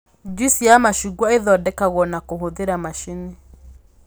NJuici ya macungwa ĩthondekagwo na kũhũthĩra macini